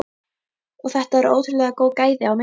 Og þetta eru ótrúlega góð gæði á myndunum?